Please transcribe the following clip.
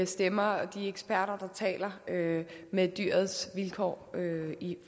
stemmer og de eksperter der taler med dyrets vilkår